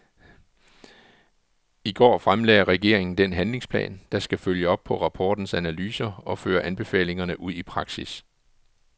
I går fremlagde regeringen den handlingsplan, der skal følge op på rapportens analyser og føre anbefalingerne ud i praksis.